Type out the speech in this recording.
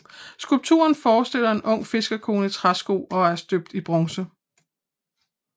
Skulpturen forestiller en ung fiskerkone i træsko og er støbt i bronze